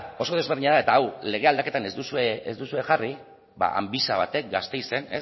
oso desberdina da eta hau lege aldaketan ez duzue ez duzue jarri amvisa batek gasteizen